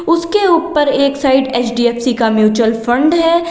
उसके ऊपर एक साइड एच_डी_एफ_सी का म्युचुअल फंड है।